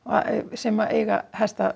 sem að eiga